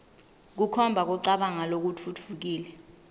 kukhomba kucabanga lokutfutfukile